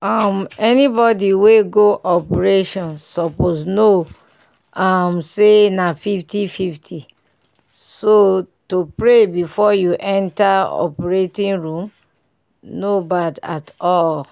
um anybody we go operation suppose know um say na 50:50 so to pray befor you enter operating room no bad at all.